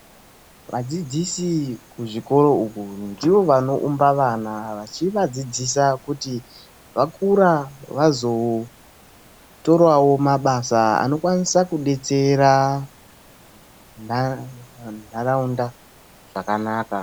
Vadzidzisi kuzvikoro uko ndivo vanoumba vana, vachivadzidzisa kuti vakura vazotorawo mabasa anokwanisa kudetsera ntaraunda zvakanaka.